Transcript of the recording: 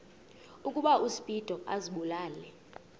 ukuba uspido azibulale